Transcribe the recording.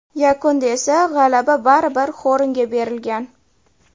Yakunda esa g‘alaba baribir Xornga berilgan.